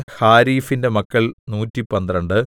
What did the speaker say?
ഹാരീഫിന്റെ മക്കൾ നൂറ്റിപന്ത്രണ്ട്